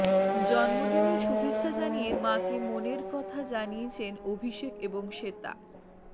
জন্মদিনের শুভেচ্ছা জানিয়ে মাকে মনের মনের কথা জানিয়েছেন অভিষেক এবং শ্বেতা